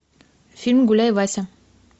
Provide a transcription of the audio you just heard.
фильм гуляй вася